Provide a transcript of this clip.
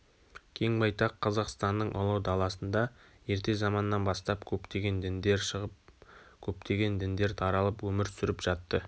кең байтақ қазақстанның ұлы даласында ерте заманнан бастап көптеген діндер шығып көптеген діндер таралып өмір сүріп жатты